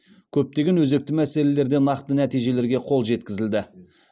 көптеген өзекті мәселелерде нақты нәтижелерге қол жеткізілді